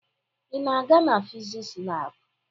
Ị na-aga na fiziks lab?